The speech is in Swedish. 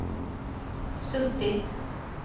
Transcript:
suttit